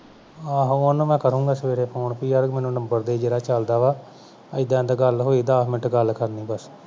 ਆਹੋ ਉਹਨੂੰ ਮੈਂ ਕਰੂੰਗਾ ਸਵੇਰੇ phone ਪੀ ਆ ਮੈਨੂੰ number ਦੇ ਜਿਹੜਾ ਚਲ ਵਾ ਏਦਾਂ ਏਦਾਂ ਗਲ ਹੋਈ ਦਸ minute ਗਲ ਕਰਨੀ ਬਸ